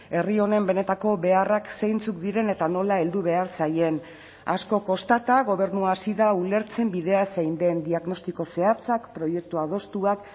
herri honen benetako beharrak zeintzuk diren eta nola heldu behar zaien asko kostata gobernua hasi da ulertzen bidea zein den diagnostiko zehatzak proiektu adostuak